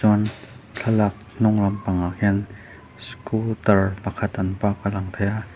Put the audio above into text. chuan thlalak hnung lamah khian scooter pakhat an park tih a lang thei a.